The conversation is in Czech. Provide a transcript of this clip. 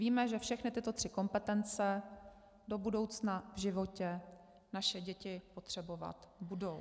Víme, že všechny tyto tři kompetence do budoucna v životě naše děti potřebovat budou.